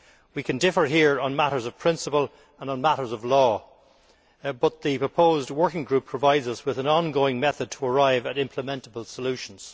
We can differ here on matters of principle and on matters of law but the proposed working group provides us with an ongoing method to arrive at implementable solutions.